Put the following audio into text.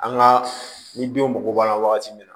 An ka ni denw mago b'a la wagati min na